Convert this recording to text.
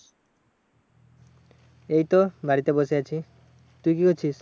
এইতো বাড়িতে বসে আছি। তুই কি করছিস?